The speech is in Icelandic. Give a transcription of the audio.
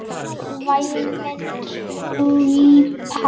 Væmin típa.